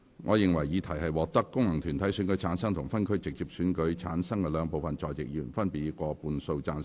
我認為議題獲得經由功能團體選舉產生及分區直接選舉產生的兩部分在席議員，分別以過半數贊成。